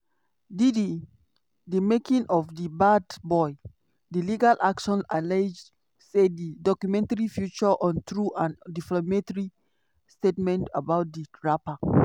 diddy: di making of a bad boy. di legal action allege say di documentary feature untrue and defamatory statements about di rapper.